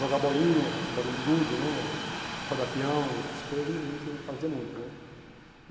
jogar bolinha, bolinha de gude né, rodar pião, essas coisas, a gente fazia muito né.